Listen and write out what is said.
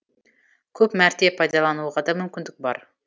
көп мәрте пайдалануға да мүмкіндік бар